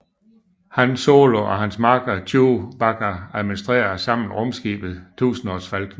Han Solo og hans makker Chewbacca administrerer sammen rumskibet Tusindårsfalken